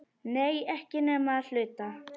Nei, ekki nema að hluta.